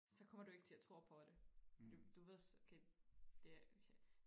så kommer du ikke til og tro på det du ved okay det er okay